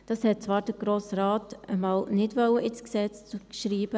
Das wollte Grosse Rat zwar einmal nicht ins Gesetz schreiben.